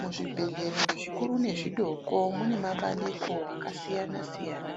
Muzvibhedhlera zvikuru nezvidoko mune mabandiko akasiyana siyana